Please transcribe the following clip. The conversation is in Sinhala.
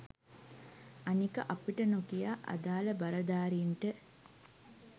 අනික අපිට නොකියා අදාල බලධාරීන්ට